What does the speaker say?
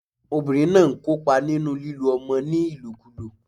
Obìnrin náà n kópa nínú lílo ọmọ ní ìlòkulò